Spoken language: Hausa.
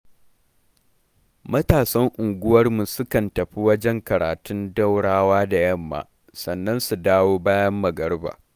Matasan unguwarmu sukan tafi wajen karatum Daurawa da yamma, sannan su dawo bayan magariba